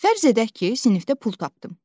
Fərz edək ki, sinifdə pul tapdım.